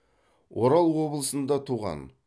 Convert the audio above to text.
орал облысында туған